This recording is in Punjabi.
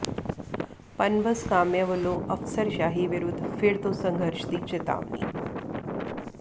ਪਨਬਸ ਕਾਮਿਆਂ ਵੱਲੋਂ ਅਫ਼ਸਰਸ਼ਾਹੀ ਵਿਰੁੱਧ ਫਿਰ ਤੋਂ ਸੰਘਰਸ਼ ਦੀ ਚਿਤਾਵਨੀ